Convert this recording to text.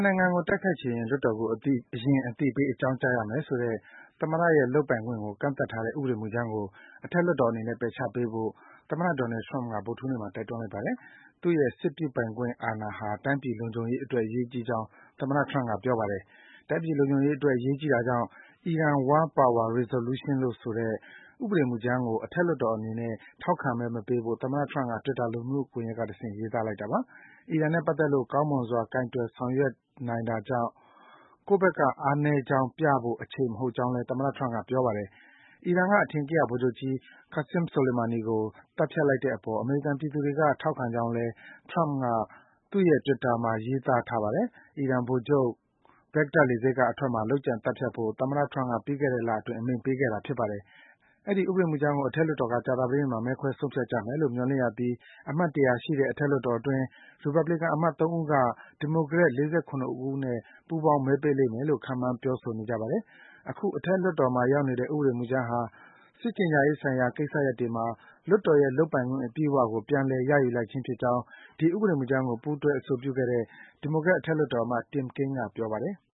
်နိုင်ငံကို တိုက်ခိုက်ချင်ရင် လွှတ်တော်ကို အရင် အသိပေး အကြောင်းကြားရမယ် ဆိုတဲ့ သမ္မတရဲ့ လုပ်ပိုင်ခွင့်ကို ကန့်သတ်ထားတဲ့ ဥပဒေမူကြမ်းကို အထက်လွှတ်တော်အနေနဲ့ ပယ်ချပေးဖို့ သမ္မတ Donald Trump က ဗုဒ္ဓဟူးနေ့မှာ တိုက်တွန်းလိုက်ပါတယ်။ သူ့ရဲ့ စစ်ပြုပိုင်ခွင့် အာဏာဟာ တိုင်းပြည်လုံခြုံရေးအတွက် အရေးကြီးကြောင်း သမ္မတ Trump က ပြောပါတယ်။ တိုင်းပြည်လုံခြုံရေးအတွက် အရေးကြီးတာကြောင့် Iran War Power Resolution ဆိုတဲ့ ဥပဒေမူကြမ်းကို အထက်လွှတ်တော်အနေနဲ့ ထောက်ခံမဲ မပေးဖို့ သမ္မတ Trump က Twitter လူမှုကွန်ရက်က တဆင့် ရေးသားလိုက်တာပါ။ အီရန်နဲ့ပတ်သက်လို့ ကောင်းမွန်စွာ ကိုင်တွယ် ဆောင်ရွက်နိုင်တာကြောင့် ကိုယ့်ဘက်က အားနည်းကြောင်းပြဖို့ အချိန်မဟုတ်ကြောင်းလည်း သမ္မတ Trump က ပြောပါတယ်။ အီရန်က အထင်ကရ ဗိုလ်ချုပ်ကြီး Qassem Soleimani ကို သတ်ဖြတ်လိုက်တဲ့အပေါ် အမေရိကန်ပြည်သူတွေက ထောက်ခံကြောင်းလည်း သမ္မတ Trump က သူ့ရဲ့ Twitter ထဲမှာ ရေးသားထားပါတယ်။ အီရန်ဗိုလ်ချုပ် ဘဂ္ဂဒက် လေဆိပ်က အထွက်မှာ လုပ်ကြံ သတ်ဖြတ်ဖို့ သမ္မတ Trump က ပြီးခဲ့တဲ့လအတွင်း အမိန့်ပေးခဲ့တာပါ။ အဲဒီ ဥပဒေမူကြမ်းကို အထက်လွှတ်တော်က ကြာသပတေးနေ့မှာ မဲခွဲဆုံးဖြတ်ကြမယ်လို့ မျှော်လင့်ရပြီး အမတ် ၁၀၀ ရှိတဲ့ အထက်လွှတ်တော်အတွင်း ရီပတ်ဘလီကန် အမတ် ၃ ဦးက ဒီမိုကရက် ၄၇ ဦးနဲ့ ပူးပေါင်း မဲပေးလိမ့်မယ်လို့ ခန့်မှန်း ပြောဆိုနေကြပါတယ်။ အခု အထက်လွှတ်တော်မှာ ရောက်နေတဲ့ ဥပဒေမူကြမ်းဟာ စစ်ကြေညာရေးဆိုင်ရာ ကိစ္စတွေမှာ လွှတ်တော်ရဲ့လုပ်ပိုင်ခွင့် အပြည့်အဝကို ပြန်လည် ရယူလိုက်ခြင်းဖြစ်ကြောင်း ဒီ ဥပဒေမူကြမ်းကို ပူးတွဲ အဆိုပြုခဲ့တဲ့ ဒီမိုကရက် အထက်လွှတ်တော်အမတ် Tim Kaine က ပြောပါတယ်။